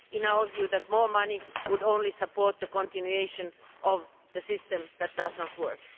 In our view, more money would only support the continuation of a system that does not work.